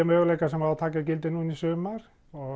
möguleika sem á að taka gildi núna í sumar